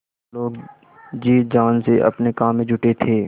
सब लोग जी जान से अपने काम में जुटे थे